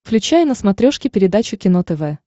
включай на смотрешке передачу кино тв